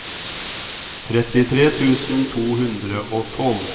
trettitre tusen to hundre og tolv